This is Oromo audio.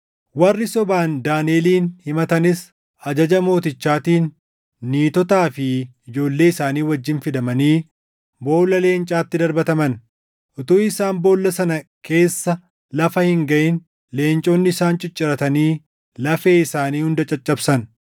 Warri sobaan Daaniʼelin himatanis ajaja mootichaatiin niitotaa fi ijoollee isaanii wajjin fidamanii boolla leencaatti darbataman. Utuu isaan boolla sana keessa lafa hin gaʼin leenconni isaan cicciratanii lafee isaanii hunda caccabsan.